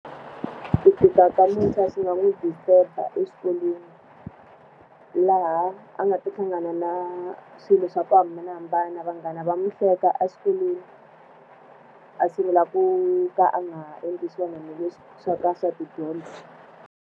Ku tika ka muntshwa swi nga n'wi disturb-a exikolweni. Laha a nga ta hlangana na swilo swa ku hambanahambana vanghana va n'wi hleka exikolweni, a sungula ku ka a nga endli swona ni swa ka swa tidyondzo.